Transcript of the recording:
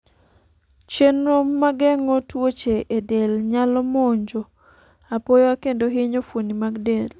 chenro mageng'o tuoche e del nyalo monjo apoya kendo hinyo fuoni mag del